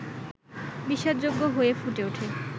বিশ্বাসযোগ্য হয়ে ফুটে ওঠে